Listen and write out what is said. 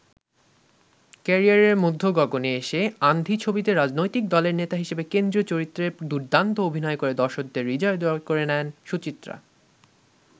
ক্যারিয়ারের মধ্যগগণে এসে ‘আন্ধি’ ছবিতে রাজনৈতিক দলের নেতা হিসেবে কেন্দ্রীয় চরিত্রে দুর্দান্ত অভিনয় করে দর্শকদের হৃদয় জয় করে নেন সুচিত্রা।